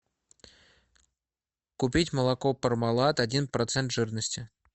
купить молоко пармалат один процент жирности